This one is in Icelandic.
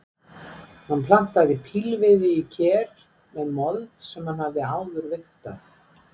Hann plantaði pílviði í ker með mold sem hann hafði áður vigtað.